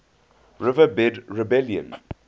red river rebellion